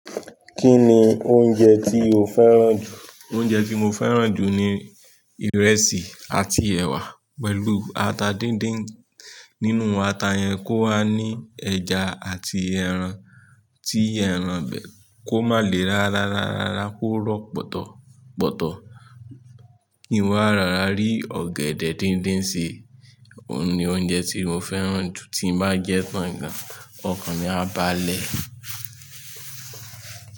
Kí ni oúnjẹ tí o fẹ́ràn jù? Oúnjẹ tí mo fẹ́ràn jù ni ìrẹsì àti ẹwà pẹ̀lú ata díndín. Nínú ata yẹn kó wá ní ẹja àti ẹran, tí ẹran bẹ kó má lè rárárárá kó rọ pọ̀tọ̀pọ̀tọ̀ kí n wá rárá rí ọ̀gẹ̀dẹ̀ díndín ṣii. Òun ni oúnjẹ tí mo fẹ́ràn jù tí màá jẹ tán gan. Ọkàn ni á báà lẹ̀